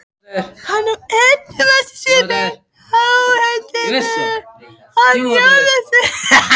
Hann sá efasvipinn á andlitum hinna jólasveinana.